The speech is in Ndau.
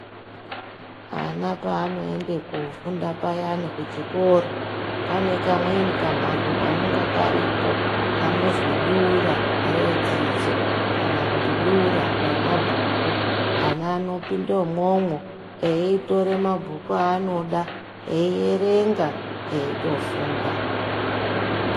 Vana pavanoenda kunofunda payani kuchikora pane kamweni kamhatso anenge karipo kanozwi dura redzidzo kana kuti dura remabhuku ana anopinda imomo eitora mabhuku aanoda eierenga eitofunda.